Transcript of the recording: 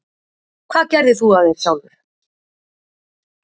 Hvað gerðir þú af þér sjálfur?